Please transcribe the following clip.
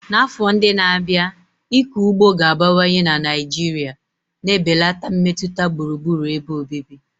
N'afọ ndị na-abịa, ịkọ ugbo ga-abawanye na Naijiria na-ebelata mmetụta gburugburu ebe obibi.